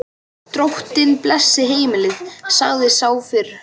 Drottinn blessi heimilið, sagði sá fyrri.